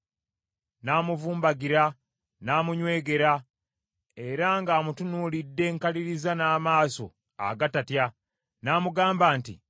N’amuvumbagira, n’amunywegera era ng’amutunuulidde nkaliriza n’amaaso agatatya n’amugamba nti: